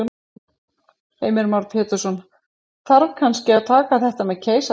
Heimir Már Pétursson: Þarf kannski að taka þetta með keisara?